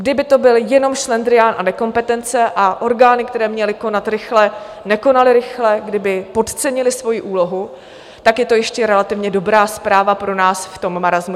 Kdyby to byl jenom šlendrián a nekompetence a orgány, které měly konat rychle, nekonaly rychle, kdyby podcenily svoji úlohu, tak je to ještě relativně dobrá zpráva pro nás v tom marasmu.